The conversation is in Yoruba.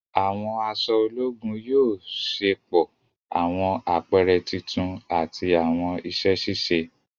Àwọn aṣọ ológùn yóò ṣepọ awọn apẹrẹ títún ati awọn iṣẹ ṣiṣe.